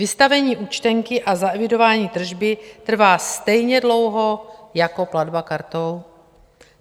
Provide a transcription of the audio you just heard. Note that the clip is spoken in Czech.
Vystavení účtenky a zaevidování tržby trvá stejně dlouho jako platba kartou.